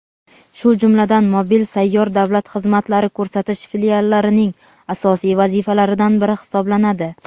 shu jumladan mobil (sayyor) davlat xizmatlari ko‘rsatish filiallarning asosiy vazifalaridan biri hisoblanadi.